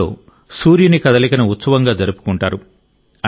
ఇందులో సూర్యుని కదలికను ఉత్సవంగా జరుపుకుంటారు